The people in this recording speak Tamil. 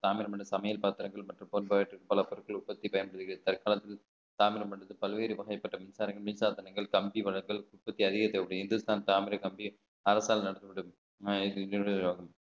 தாமிரபரணி சமையல் பாத்திரங்கள் மற்றும் பொருட்கள் உற்பத்தி பல்வேறு வகைப்பட்ட மின்சாரங்கள் மின்சாதனங்கள் கம்பி வளங்கள் உற்பத்தி அரசால் நடத்தப்படும்